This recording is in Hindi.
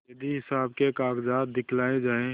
यदि हिसाब के कागजात दिखलाये जाएँ